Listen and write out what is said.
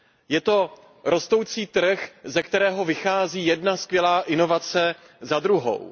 Je to rostoucí trh, ze kterého vychází jedna skvělá inovace za druhou.